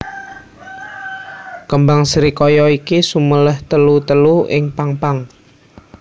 Kembang srikaya iki suméléh telu telu ing pang pang